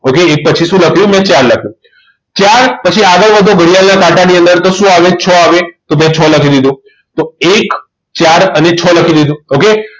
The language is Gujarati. Okay એક પછી મેં શું લખ્યું મેં ચાર લખ્યું ચાર પછી આગળ વધો ઘડિયાળના કાંટાની અંદર તો શું આવે તો છ લખી દીધો. એક ચાર અને છ લખી દીધો okay